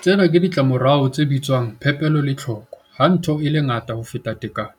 Tsena ke ditlamorao tsa se bitswang 'Phepelo le Tlhoko' Ha ntho e le ngata ho feta tekano,